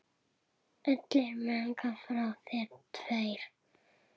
Allir mega fá sér tvær.